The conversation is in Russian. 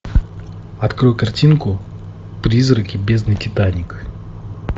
открой картинку призраки бездны титаник